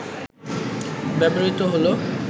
ব্যবহৃত হল